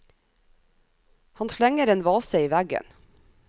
Han slenger en vase i veggen.